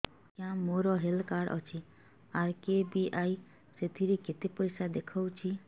ଆଜ୍ଞା ମୋର health card ଅଛି ଆର୍.କେ.ବି.ୱାଇ ସେଥିରେ କେତେ ପଇସା ଦେଖଉଛି